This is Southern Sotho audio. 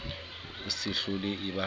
e se hlole e ba